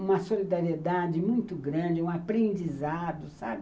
Uma solidariedade muito grande, um aprendizado, sabe?